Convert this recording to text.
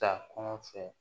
Ta kɔn fɛ